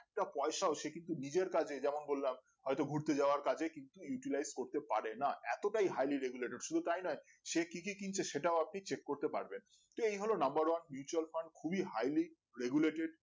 তা পয়সা হচ্ছে কিন্তু নিজের কাজে যেমন বললাম হয়তো ঘুরতে যাওয়ার কাজে কিন্তু utilite করতে পারে না এতটাই harley regulated শুধু তাই নয় সে কি কি কিনছে সেটাও আপনি চেক করতে পারবেন তো এই হল number one mutual fund খুবই highly regulated